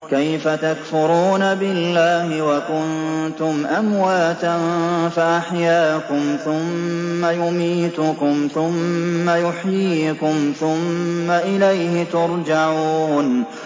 كَيْفَ تَكْفُرُونَ بِاللَّهِ وَكُنتُمْ أَمْوَاتًا فَأَحْيَاكُمْ ۖ ثُمَّ يُمِيتُكُمْ ثُمَّ يُحْيِيكُمْ ثُمَّ إِلَيْهِ تُرْجَعُونَ